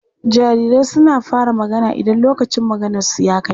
Jarirai suna fara magana idan lokacin maganarsu ya kai.